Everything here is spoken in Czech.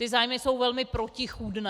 Ty zájmy jsou velmi protichůdné.